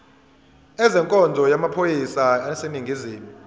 ezenkonzo yamaphoyisa aseningizimu